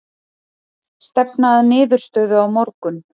Stefna að niðurstöðu á morgun